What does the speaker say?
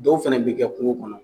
Dɔw fɛnɛ bi kɛ kungo kɔnɔ